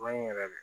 Maɲi yɛrɛ de